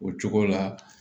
O cogo la